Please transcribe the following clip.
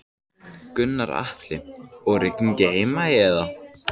Gunnar Atli: Og rigning í Heimaey eða?